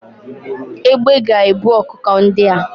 Egbé ga ebu ọkụkọ ndịa